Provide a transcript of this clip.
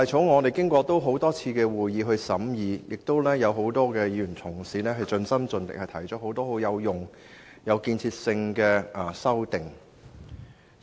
我們曾舉行多次會議審議《條例草案》，並有多位議員同事盡心盡力地提出多項有用和有建設性的修正案。